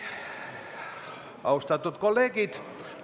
Austatud kolleegid!